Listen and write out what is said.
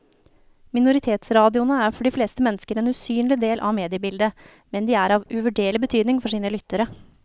Minoritetsradioene er for de fleste mennesker en usynlig del av mediebildet, men de er av uvurderlig betydning for sine lyttere.